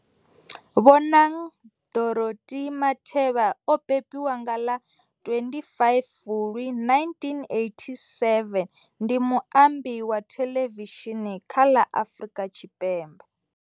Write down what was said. Bonang Dorothy Matheba o bebiwa nga ḽa 25 Fulwi 1987, ndi muambi wa theḽevishini kha la Afrika.